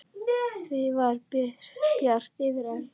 Það var bjart yfir Erlu.